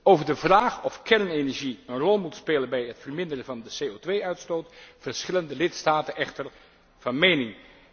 Over de vraag of kernenergie een rol moet spelen bij het verminderen van de CO 2 uitstoot verschillen de lidstaten echter van mening.